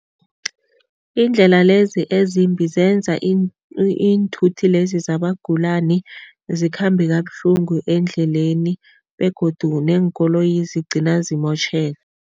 Iindlela lezi ezimbi zenza iinthuthi lezi zabagulani zikhambe kabuhlungu eendleleni begodu neenkoloyi zigcina zimotjheka.